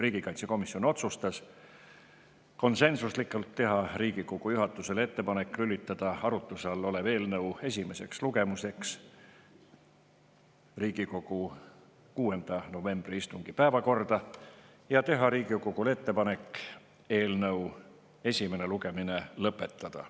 Riigikaitsekomisjon otsustas konsensuslikult teha Riigikogu juhatusele ettepaneku lülitada arutuse all olev eelnõu esimeseks lugemiseks Riigikogu 6. novembri istungi päevakorda ja teha Riigikogule ettepaneku eelnõu esimene lugemine lõpetada.